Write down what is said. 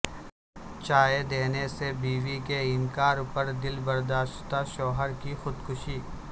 چائے دینے سے بیوی کے انکار پر دلبرداشتہ شوہر کی خودکشی